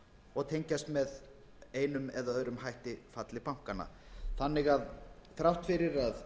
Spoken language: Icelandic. og tengjast með einum eða öðrum hætti falli bankanna þannig að þrátt fyrir að